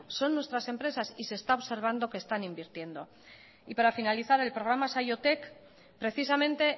son nuestras empresas y se está observando que están invirtiendo y para finalizar el programa saiotek precisamente